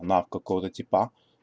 на какого-то типа